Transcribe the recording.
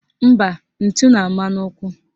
Mba, ntụ na-ama n'ụkwụ